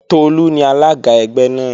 Tolú ni alága ẹgbẹ́ náà